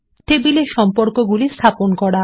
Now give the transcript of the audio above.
টেবিলে সম্পর্কগুলি স্থাপন করা